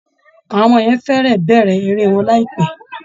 Àwọn ọmọ yẹn fẹ́rẹ̀ẹ́ bẹ̀rẹ̀ eré wọn láìpẹ́